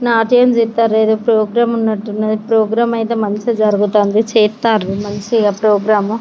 నాకేం చెప్తుంటారు వేరే ప్రోగ్రాం ఉన్నట్టుంది శుభ్రంగా అయితే మంచిగా జరుగుతుంది మంచిగా ప్రోగ్రామా --